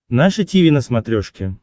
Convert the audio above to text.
наше тиви на смотрешке